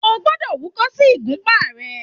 O gbọ́dọ̀ húkọ́ sí ìgúpá ẹ!